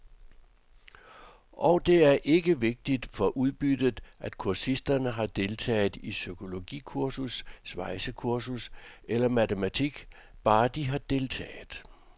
Og det er ikke vigtigt for udbyttet, om kursisterne har deltaget i psykologikursus, svejsekursus eller matematik, bare de har deltaget.